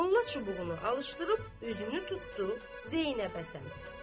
Molla çubuğunu alışdırıb özünü tutdu Zeynəbə sarı.